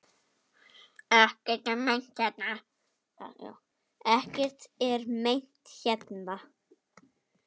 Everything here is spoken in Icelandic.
Ekkert er meint hérna.